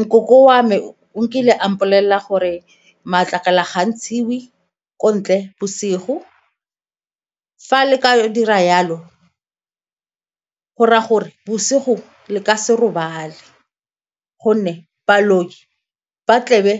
Nkoko wa me o nkile a mpolelela gore matlakala ga a ntshiwe ko ntle bosigo. Fa le ka dira jalo, go ra'a gore bosigo le ka se robale gonne baloi ba tlebe